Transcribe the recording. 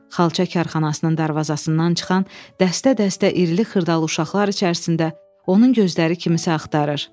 Xalça karxanasının darvazasından çıxan dəstə-dəstə irili-xırdalı uşaqlar içərisində onun gözləri kimisə axtarır.